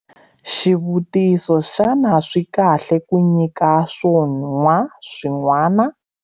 Xivutiso- Xana swi kahle ku nyika swo nwa swin'wana?